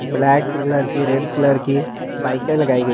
Black colour की red colour की बाईकें लगाई गई हैं।